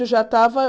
Já estava